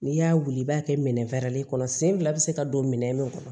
N'i y'a wuli i b'a kɛ minɛn kɔnɔ sen fila bɛ se ka don minɛn min kɔnɔ